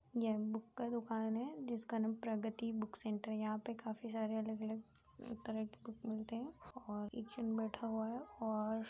यह बुक का दुकान है जिसका नाम प्रगति बुक सेंटर है यहाँ पे काफी सारे अलग-अलग तरह के बुक मिलते हैं और एक जन बैठा हुआ है और --